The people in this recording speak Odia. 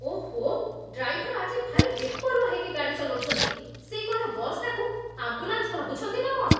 ଓଃ, ଡ୍ରାଇଭର ଆଜି ଭାରି ବେପରୁଆ ହେଇକି ଗାଡ଼ି ଚଲଉଚନ୍ତି । ସେ କ'ଣ ବସ୍‌ଟାକୁ ଆମ୍ବୁଲାନ୍ସ ଭାବୁଛନ୍ତି ନା କ'ଣ?